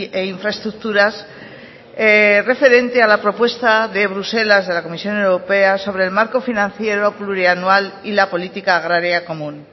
e infraestructuras referente a la propuesta de bruselas de la comisión europea sobre el marco financiero plurianual y la política agraria común